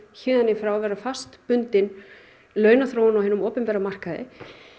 héðan í frá vera fastbundin launaþróun á hinum opinbera markaði